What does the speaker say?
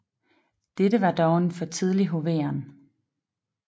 Dette var dog en for tidlig hoveren